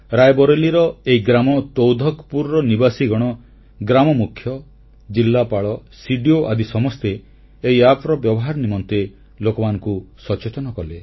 ରାୟବରେଲୀର ଏହି ଗ୍ରାମ ତୌଧବପୁରର ନିବାସୀଗଣ ଗ୍ରାମମୁଖ୍ୟ ଜିଲ୍ଲାପାଳ ସିଡିଓ ଆଦି ସମସ୍ତେ ଏହି ଆପ୍ର ବ୍ୟବହାର ନିମନ୍ତେ ଲୋକମାନଙ୍କୁ ସଚେତନ କଲେ